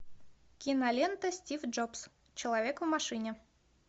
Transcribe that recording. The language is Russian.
кинолента стив джобс человек в машине